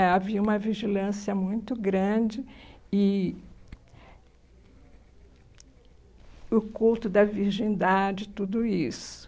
é, Havia uma vigilância muito grande e e o culto da virgindade, tudo isso.